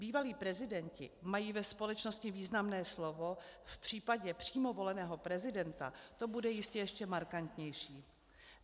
Bývalí prezidenti mají ve společnosti významné slovo, v případě přímo voleného prezidenta to bude jistě ještě markantnější.